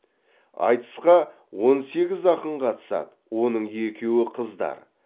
айтысқа он сегіз ақын қатысады оның екеуі қыздар